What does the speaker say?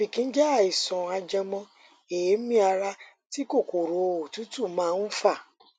ọfìnkì jẹ àìsàn ajẹmọ èémí ara tí kòkòrò òtútù máa ń fà